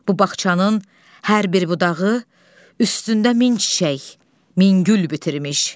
Bu bağçanın hər bir budağı üstündə min çiçək, min gül bitirmiş.